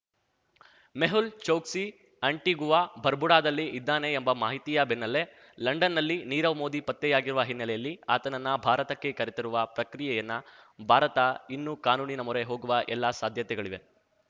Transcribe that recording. Mehul Choksi Antigua ಬರ್ಬುಡಾದಲ್ಲಿ ಇದ್ದಾನೆ ಎಂಬ ಮಾಹಿತಿಯ ಬೆನ್ನಲ್ಲೆ ಲಂಡನ್‌ನಲ್ಲಿ ನೀರವ್ ಮೋದಿ ಪತ್ತೆಯಾಗಿರುವ ಹಿನ್ನೆಲೆಯಲ್ಲಿ ಆತನನ್ನು ಭಾರತಕ್ಕೆ ಕರೆತರುವ ಪ್ರಕ್ರಿಯೆಯನ್ನ ಭಾರತ ಇನ್ನು ಕಾನೂನಿನ ಮೊರೆ ಹೋಗುವ ಎಲ್ಲ ಸಾಧ್ಯತೆಗಳಿವೆ